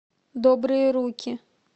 добрые руки